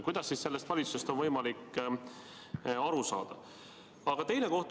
Kuidas siis sellest valitsusest on võimalik aru saada?